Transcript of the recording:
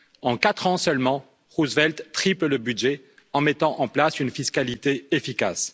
En quatre ans seulement, Roosevelt triple le budget en mettant en place une fiscalité efficace.